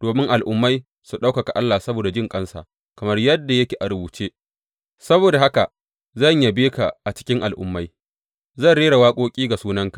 domin Al’ummai su ɗaukaka Allah saboda jinƙansa, kamar yadda yake a rubuce, Saboda haka zan yabe ka a cikin Al’ummai; zan rera waƙoƙi ga sunanka.